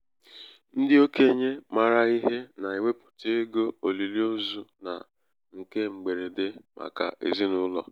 ndị okenye maara ihe na-ewepụta um ego olili ozu na um nke mgberede um màkà ezinaụlọ.